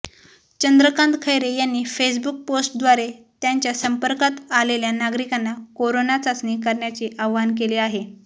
चंद्रकांत खैरे यांनी फेसबुक पोस्टद्वारे त्यांच्या संपर्कात आलेल्या नागरिकांना कोरोना चाचणी करण्याचे आवाहन केले आहे